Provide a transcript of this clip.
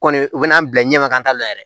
Kɔni u bɛn'an bila ɲɛma ka taa la yɛrɛ